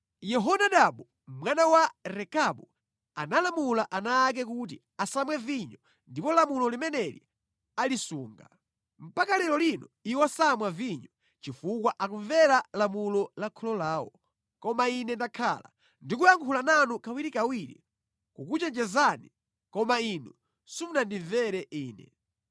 ‘Yehonadabu mwana wa Rekabu analamula ana ake kuti asamwe vinyo ndipo lamulo limeneli alisunga. Mpaka lero lino iwo samwa vinyo, chifukwa akumvera lamulo la kholo lawo. Koma Ine ndakhala ndikuyankhula nanu kawirikawiri kukuchenjezani, koma inu simunandimvere Ine.